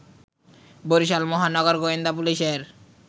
বরিশাল মহানগর গোয়েন্দা পুলিশের